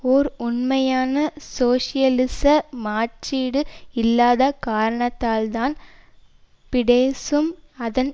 ஓர் உண்மையான சோசியலிச மாற்றீடு இல்லாத காரணத்தால்தான் பிடெசும் அதன்